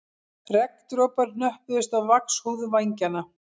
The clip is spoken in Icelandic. Regndropar hnöppuðust á vaxhúð vængjanna